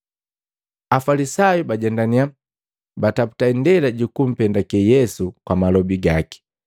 Afalisayu bajendaniya, bataputa indela jukumpendake Yesu kwa malobi gaki.